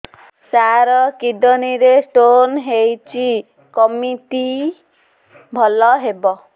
ସାର kidney ରେ stone ହେଇଛି କମିତି ଭଲ ହେବ